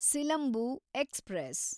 Silambu express